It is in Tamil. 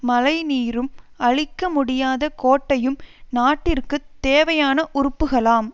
மழை நீரும் அழிக்க முடியாத கோட்டையும் நாட்டிற்குத் தேவையான உறுப்புகளாம்